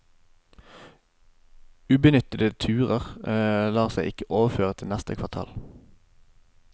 Ubenyttede turer lar seg ikke overføre til neste kvartal.